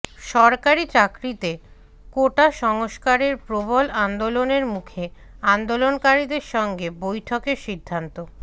সরকারি চাকরিতে কোটা সংস্কারের প্রবল আন্দোলনের মুখে আন্দোলনকারীদের সঙ্গে বৈঠকের সিদ্ধান্ত